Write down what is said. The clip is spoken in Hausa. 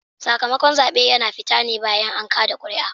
Sakamakon zaɓe yana fita ne bayan an kada kuri'a